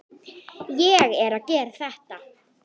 Ég er að gera þetta.